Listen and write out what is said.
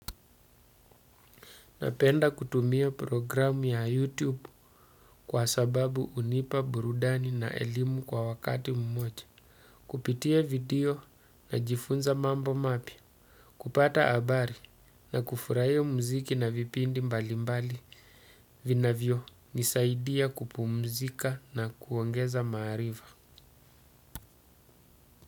Napenda kutumia programu ya YouTube kwa sababu hunipa burudani na elimu kwa wakati mmoja. Kupitia video najifunza mambo mapya, kupata habari na kufurahia muziki na vipindi mbalimbali vinavyonisaidia kupumzika na kuongeza maarifa.